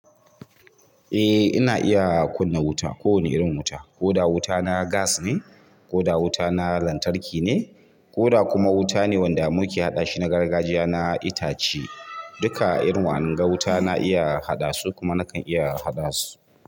Eh ina iya kunna wuta, ko wane irin wuta. Ko da wuta na gas ne, ko da wuta na lantarki ne, ko da kuma wuta ne wanda muke haɗashi na gargajiya na itace. Duka iri wa anga wuta na iya haɗasu kuma nakan iya haɗasu.